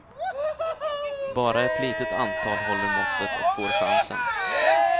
Bara ett litet antal håller måttet och får chansen.